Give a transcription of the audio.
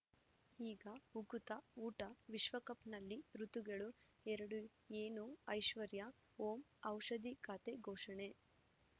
ಈಗ ಉಕುತ ಊಟ ವಿಶ್ವಕಪ್‌ನಲ್ಲಿ ಋತುಗಳು ಎರಡು ಏನು ಐಶ್ವರ್ಯಾ ಓಂ ಔಷಧಿ ಖಾತೆ ಘೋಷಣೆ